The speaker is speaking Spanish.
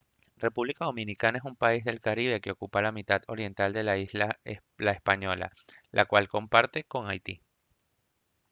república dominicana es un país del caribe que ocupa la mitad oriental de la isla la española la cual comparte con haití